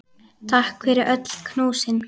Takk fyrir öll knúsin.